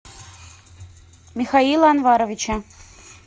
михаила анваровича